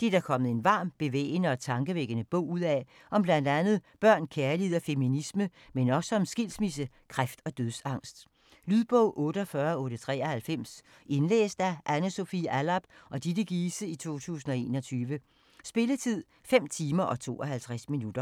Det er der kommet en varm, bevægende og tankevækkende bog ud af om bl.a. børn, kærlighed og feminisme, men også om skilsmisse, kræft og dødsangst. Lydbog 48893 Indlæst af Anne Sofie Allarp og Ditte Giese, 2021. Spilletid: 5 timer, 52 minutter.